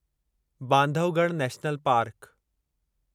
Bandhavgarh national park